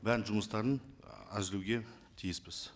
бәрін жұмыстарын әзірлеуге тиіспіз